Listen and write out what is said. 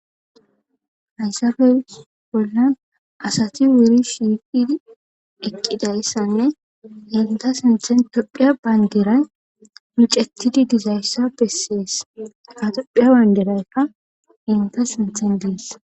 haysafes bollan asati wuri shiiqidi eqqida issanne inta sinthen tophiya bayndiray micettidi dizayssa bessees katophiya bayndiraykka inta sinthen dees